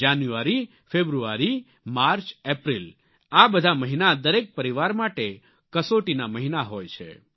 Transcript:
જાન્યુઆરી ફેબ્રુઆરી માર્ચ એપ્રિલ આ બધા મહિના દરેક પરિવાર માટે કસોટીના મહિના હોય છે